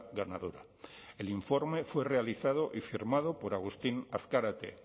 ganadora el informe fue realizado y firmado por agustín azkarate